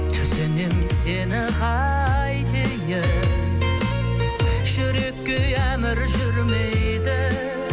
түсінем сені қайтейін жүрекке ей әмір жүрмейді